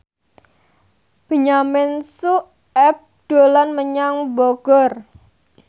Benyamin Sueb dolan menyang Bogor